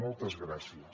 moltes gràcies